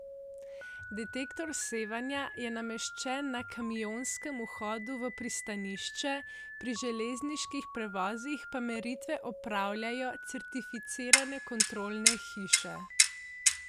Detektor sevanja je nameščen na kamionskem vhodu v pristanišče, pri železniških prevozih pa meritve opravljajo certificirane kontrolne hiše.